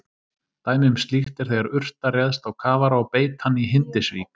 Dæmi um slíkt er þegar urta réðst á kafara og beit hann í Hindisvík.